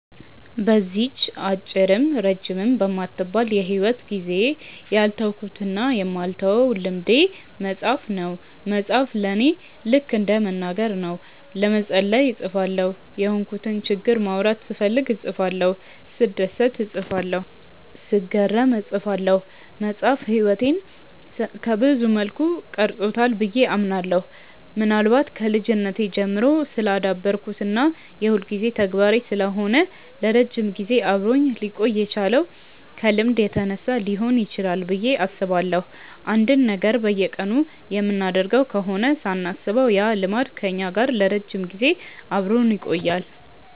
በዚህች አጭርም ረጅምም በማትባል የሂወት ጊዜዬ ያልተውኩትና የማልተወው ልምዴ መጻፍ ነው። መጻፍ ለኔ ልከ እንደ መናገር ነው። ለመጸለይ እጽፋለሁ፤ የሆንኩትን ችግር ማውራት ስፈልግ እጽፋለሁ፤ ስደሰት እጽፋለሁ፤ ስገረም እጽፋለሁ። መጻፍ ህይወቴን ሰብዙ መልኩ ቀርጾታል ብዬ አምናለሁ። ምናልባት ከልጅነቴ ጀምሮ ስላዳበርኩት እና የሁልጊዜ ተግባሬ ስለሆነ ለረጅም ጊዜ አብሮኝ ሊቆይ የቻለው ከልምድ የተነሳ ሊሆን ይችላል ብዬ አስባለሁ። አንድን ነገር በየቀኑ የምናደርገው ከሆነ ሳናስበው ያ ልማድ ከኛ ጋር ለረጅም ጊዜ አብሮን ይቆያል።